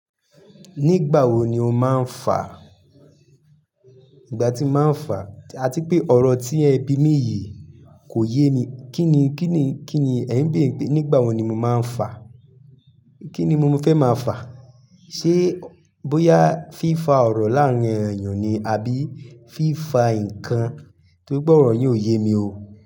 Nígbà wo ni o máa ń fà? Ìgbà tí mo máa ń fà? Àti pé ọ̀rọ̀ tí ẹ̀ bi mí yìí kò yé mi. Kí ni ẹ ń bèère pé nígbà wo ni mo máa ń fà? Kí ni mo fẹ́ máa fà? Ṣé bóyá fífa ọ̀rọ̀ láàárín èèyàn ni, àbí fífa nǹkan tóri pe ọ̀rọ̀ yin óò yé mi o.